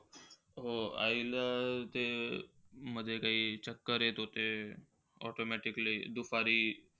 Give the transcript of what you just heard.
हो. आई ला ते मध्ये काही चक्कर येत होते. Automatically दुपारी,